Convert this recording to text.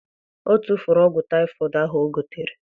O tufuru ọgwụ typhoid ahu o gotere